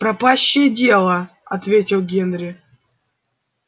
пропащее дело ответил генри